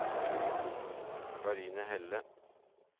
Karine Helle